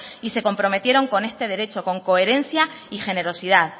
y se comprometieron con este derecho con coherencia y generosidad